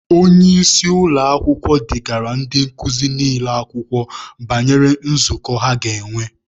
Onye isi ụlọakwụkwọ degaara ndị nkuzi niile akwụkwọ banyere nzukọ ha ga-enwe.